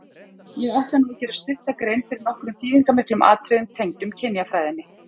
Ég ætla nú að gera stutta grein fyrir nokkrum þýðingarmiklum atriðum tengdum kynjafræðinni.